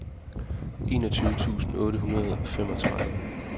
enogtyve tusind otte hundrede og femogtredive